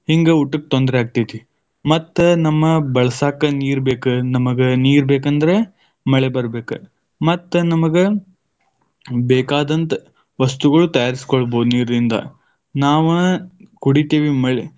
ಹಿಂಗ ಊಟಕ್ ತೊಂದ್ರೆ ಆಗ್ತೈತಿ, ಮತ್ತ ನಮ್ಮ ಬಳಸಾಕ ನೀರ ಬೇಕ. ನಮಗ ನೀರ್ ಬೇಕಂದ್ರ ಮಳೆ ಬರಬೇಕ ಮತ್ತ ನಮಗ ಬೇಕಾದಂತ ವಸ್ತುಗಳು ತಯಾರಿಸಿಕೊಳ್ಳಬಹುದ ನೀರಿನಿಂದ, ನಾವ ಕುಡಿತೀವಿ ಮಳೆ.